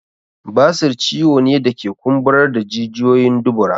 Basir ciwo ne da ke kumburar da jijiyoyin dubura